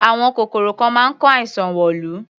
Àwọn kòkòrò kan máa ń kó àìsàn wọ̀lú.